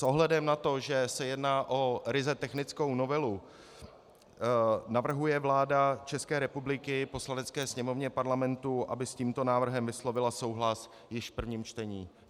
S ohledem na to, že se jedná o ryze technickou novelu, navrhuje vláda České republiky Poslanecké sněmovně Parlamentu, aby s tímto návrhem vyslovila souhlas již v prvním čtení.